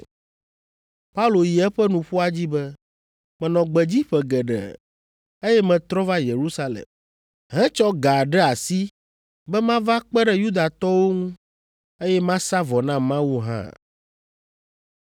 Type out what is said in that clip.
Paulo yi eƒe nuƒoa dzi be, “Menɔ gbedzi ƒe geɖe, eye metrɔ va Yerusalem, hetsɔ ga ɖe asi be mava kpe ɖe Yudatɔwo ŋu, eye masa vɔ na Mawu hã.